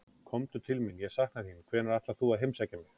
Komdu til mín, ég sakna þín, hvenær ætlar þú að heimsækja mig?